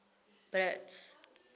brits